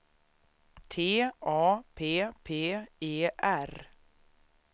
T A P P E R